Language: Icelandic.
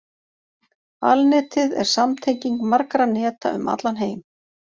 Alnetið er samtenging margra neta um allan heim.